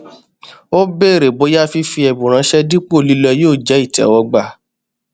ó bèrè bóyá fífi ẹbùn ránṣẹ dípò lílọ yóò jẹ ìtẹwọgbà